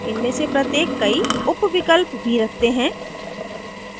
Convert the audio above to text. इनमे से प्रत्येक कई उपविकल्प भी रखते हैं